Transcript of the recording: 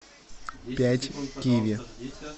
пять киви